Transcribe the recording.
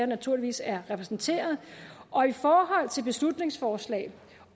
naturligvis er repræsenteret og i forhold til beslutningsforslag